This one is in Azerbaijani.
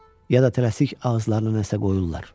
Ya da tələsik ağızlarına nəsə qoyurlar?